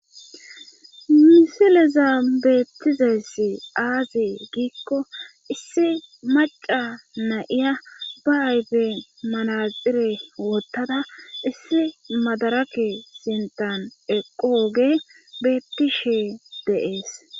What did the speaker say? misileza beettizeesi aazi giikko issi maca na7iya ba ayfe malaxire wottada issi madarake sintan eqo oge beettishe deees